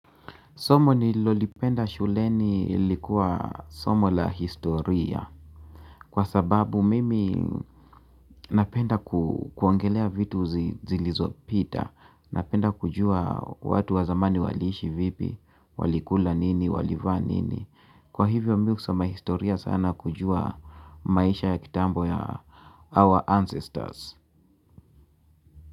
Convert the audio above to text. Somo nililolipenda shuleni ilikuwa somo la historia. Kwa sababu mimi napenda kuongelea vitu zilizopita. Napenda kujua watu wa zamani waliishi vipi, walikula nini, walivaa nini. Kwa hivyo mimi husoma historia sana kujua maisha ya kitambo ya our ancestors.